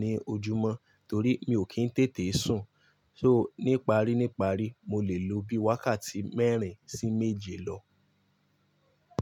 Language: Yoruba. ní ojúmọ́, torí mi ò kí ń tètè sùn. So níparíníparí, mo lè lo bí i wákàtí mẹ́rin sí méje lọ.